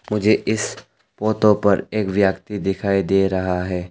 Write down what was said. मुझे इस पोतो पर एक व्यक्ति दिखाई दे रहा है।